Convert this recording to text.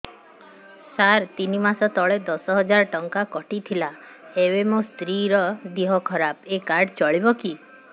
ସାର ତିନି ମାସ ତଳେ ଦଶ ହଜାର ଟଙ୍କା କଟି ଥିଲା ଏବେ ମୋ ସ୍ତ୍ରୀ ର ଦିହ ଖରାପ ଏ କାର୍ଡ ଚଳିବକି